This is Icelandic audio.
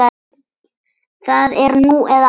Það er nú eða aldrei.